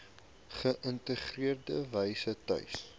geïntegreerde wyse tuis